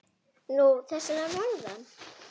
Nú, þessir að norðan.